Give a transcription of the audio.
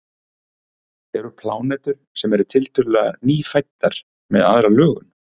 eru plánetur sem eru tiltölulega „nýfæddar“ með aðra lögun